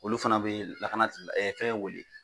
Olu fana bɛ lakana tigi fɛn wele